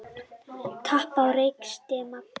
Tap á rekstri Magma